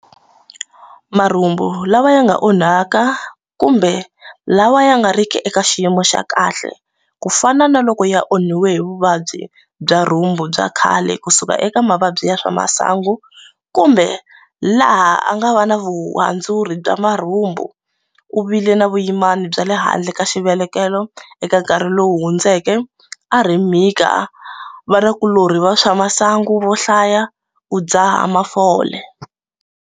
Marhumbu lawa ya nga onhaka kumbe la wa ya nga ri ki eka xiyimo xa kahle, ku fana na ku loko ya onhiwe hi vuvabyi bya rhumbu bya khale ku suka eka mavabyi ya swa masangu kumbe laha a nga va na vuhandzuri bya marhumbu, u vile na vuyimani byale handle ka xivelekelo eka nkarhi lowu hundzeke, a ri mhika, va na vanakulorhi va swa masangu vo hlaya, u dzaha mafole.